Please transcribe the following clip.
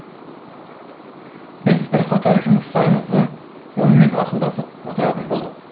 біз бірқатар жұмыстарымызды онымен ақылдасып отыратын болдық